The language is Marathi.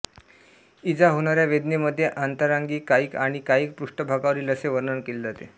इजा होणाया वेदनेमध्ये आंतरांगिक कायिक आणि कायिक पृष्ठ्भागावरील असे वर्णन केले जाते